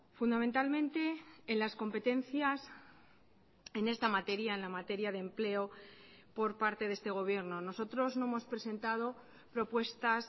fundamentalmente en las competencias en esta materia en la materia de empleo por parte de este gobierno nosotros no hemos presentado propuestas